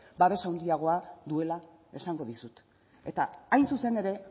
babes handiagoa duela esango dizut eta hain zuzen ere